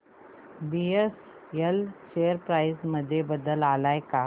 BSL share price मध्ये बदल आलाय का